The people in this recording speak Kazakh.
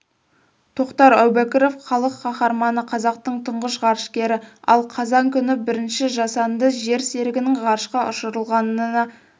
тоқтар әубәкіров халық қаһарманы қазақтың тұңғыш ғарышкері ал қазан күні бірінші жасанды жер серігінің ғарышқа ұшырылғанына